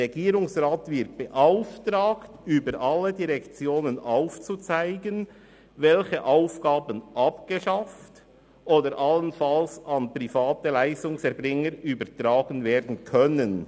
«Der Regierungsrat wird beauftragt, über alle Direktionen aufzuzeigen, welche Aufgaben abgeschafft oder allenfalls an private Leistungserbringer übertragen werden können.